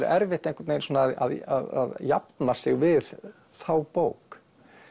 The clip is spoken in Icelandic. erfitt einhvern veginn að jafna sig við þá bók